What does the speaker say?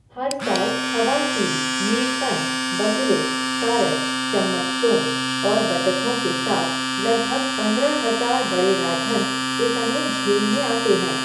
हर साल हवासील, नीलकंठ, बगुले, सारस, चम्मचचोंच और बतखों के साथ लगभग पंद्रह हजार बड़े राजहंस इस अनूप झील में आते हैं।